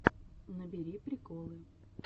набери приколы